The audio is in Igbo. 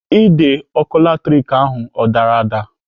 Ide ọkụ latrik ahụ ọ dara ada?